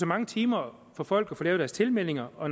mange timer for folk at få lavet deres tilmeldinger og